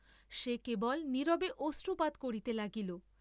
সে কেবল নীরবে অশ্রুপাত করিতে লাগিল।